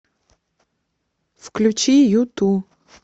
включи юту